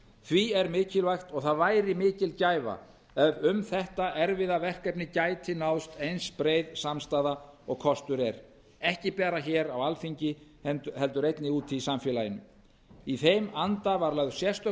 því er mikilvægt og það væri mikil gæfa ef um þetta erfiða verkefni gæti náðst eins breið samstaða og kostur er ekki bara hér á alþingi heldur einnig úti í samfélaginu í þeim anda var lögð sérstök